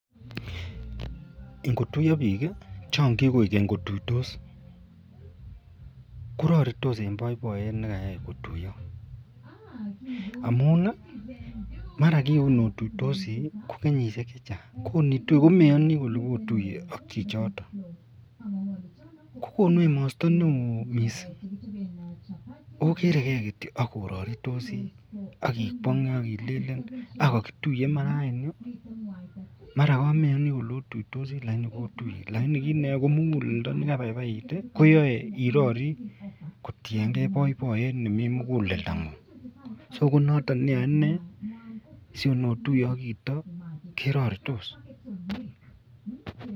Ingutoiyo bik Chan kibau wubkotuiyos koraritis en baibaiyet nekayaibkotuyo amun kin otuiyosi kokenyishek chechang komeyani Kole kotuiye notuiye ak chichiton kokonu emostonmeonneon mising ogere gei akoraritos akikwange agilelen kakituiye Iman raini mara kameyani Kole otuiyosi lakini kotuye lakini kit neyae kobmugulendo nekabaibait koyae irori kotiyengei ak baibaiyet nemiten mugulendo ngun so konaton neyain sinotuiye akchito keraritos